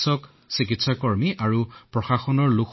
এম্বুলেন্সত আহিল আপোনালোক